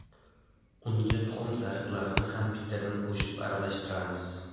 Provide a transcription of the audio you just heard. Unga tuxum sariqlarini ham bittadan qo‘shib aralashtiramiz.